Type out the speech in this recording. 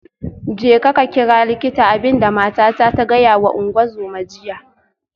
Jeka ka kira likita, abin da matata ta gaya wa ungozoma jiya